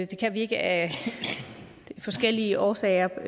kan vi ikke af forskellige årsager